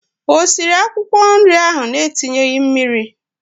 O siri akwụkwọ nri ahụ na-etinyeghị mmiri?